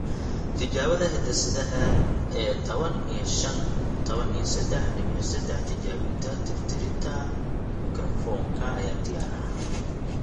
Tijaabada hidde-sidaha ee tawan iyo shaan q tawan iyo sedaax diwiic sedaax tijaabinta tirtiridda mikrofoonka ayaa diyaar ah.